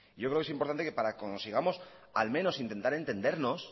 yo creo que es importante que para que consigamos al menos intentar entendernos